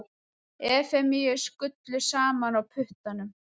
Efemíu skullu saman á puttanum.